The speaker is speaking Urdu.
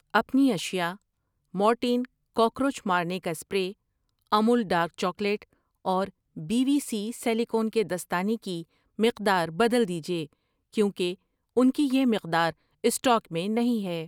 اپنی اشیاء مورٹین کاکروچ مارنے کا سپرے, امول ڈارک چاکلیٹ اور بی وی سی سلیکون کے دستانے کی مقدار بدل دیجیے کیونکہ انکی یہ مقدار سٹاک میں نہیں ہے۔